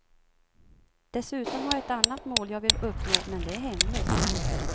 Dessutom har jag ett annat mål jag vill uppnå men det är hemligt.